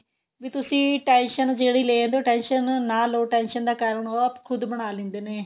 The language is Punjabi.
ਵੀ ਤੁਸੀਂ tension ਜਿਹੜੀ ਲੈਂਦੇ ਓ tension ਨਾ ਲੋ tension ਦਾ ਕਾਰਨ ਉਹ ਖੁਦ ਬਣਾ ਲੈਂਦੇ ਨੇ